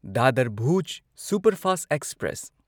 Dadar Bhuj superfast express